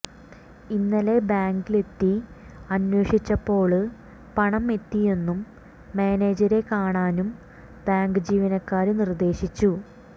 ഇന്നലെ ബാങ്കിലെത്തി അന്വേഷിച്ചപ്പോള് പണം എത്തിയെന്നും മാനേജരെ കാണാനും ബാങ്ക് ജീവനക്കാര് നിര്ദേശിച്ചു